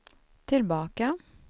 tillbaka